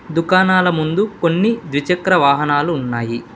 దుకాణాల ముందు కొన్ని ద్విచక్ర వాహనాలు ఉన్నాయి.